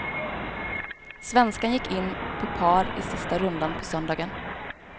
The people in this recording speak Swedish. Svenskan gick in på par i sista rundan på söndagen.